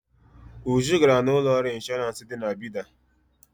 Uju gara na ụlọọrụ ịnshọrans dị na Bida.